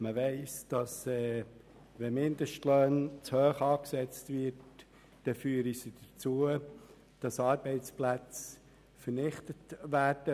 Man weiss, dass Mindestlöhne, wenn sie zu hoch angesetzt sind, zur Vernichtung von Arbeitsplätzen führen.